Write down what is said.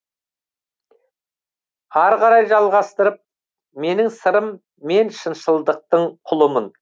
арғарай жалғастырып менің сырым мен шыншылдықтың құлымын